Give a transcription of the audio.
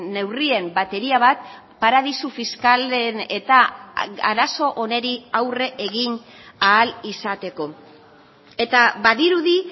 neurrien bateria bat paradisu fiskalen eta arazo honi aurre egin ahal izateko eta badirudi